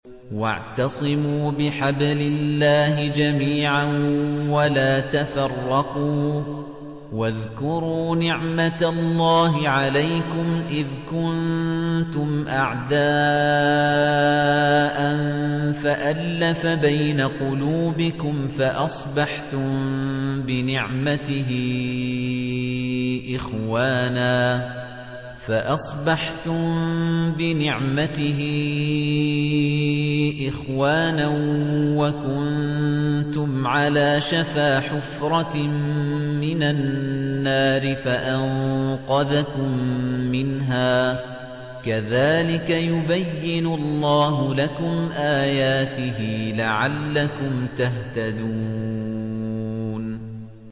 وَاعْتَصِمُوا بِحَبْلِ اللَّهِ جَمِيعًا وَلَا تَفَرَّقُوا ۚ وَاذْكُرُوا نِعْمَتَ اللَّهِ عَلَيْكُمْ إِذْ كُنتُمْ أَعْدَاءً فَأَلَّفَ بَيْنَ قُلُوبِكُمْ فَأَصْبَحْتُم بِنِعْمَتِهِ إِخْوَانًا وَكُنتُمْ عَلَىٰ شَفَا حُفْرَةٍ مِّنَ النَّارِ فَأَنقَذَكُم مِّنْهَا ۗ كَذَٰلِكَ يُبَيِّنُ اللَّهُ لَكُمْ آيَاتِهِ لَعَلَّكُمْ تَهْتَدُونَ